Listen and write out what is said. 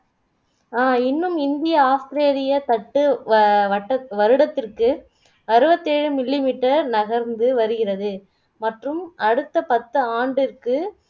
அஹ் இன்னும் இந்திய ஆஸ்திரேலிய தட்டு வவட்டத்வருடத்திற்கு அறுபத்தேழு millimeter நகர்ந்து வருகிறது மற்றும் அடுத்த பத்து ஆண்டிற்கு